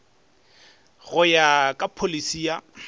go ya ka pholisi ya